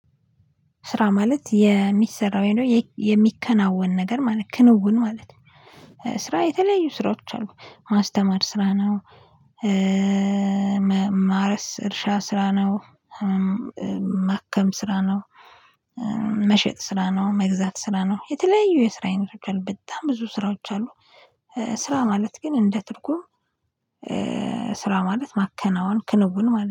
ስራ ማለት የሚሰራ ወይም የሚከናወን ነገር ማለት ክንውን ማለት ነው። ስራ የተለያዩ ስራዎች አሉ ማስተማር ስራ ነው። ማረስ እርሻ ስራ ነው። ማከም ስራ ነው። መሸጥ ስራ ነው መግዛት ስራ ነው። የተለያዩ የስራ አይነቶች በጣም ብዙ ስራዎች አሉ። ስራ ማለት ግን እንደ ትርጉም ስራ ማለት ማከናወን ክንውን ማለት